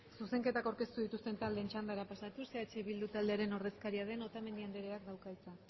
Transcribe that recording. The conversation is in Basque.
zuzenketak aurkeztu dituzten taldeen txandara pasatuz eh bilduren taldearen ordezkaria den otamendi andereak dauka hitza